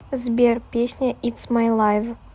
сбер песня итс май лайв